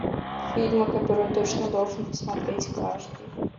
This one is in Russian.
фильмы которые точно должен посмотреть каждый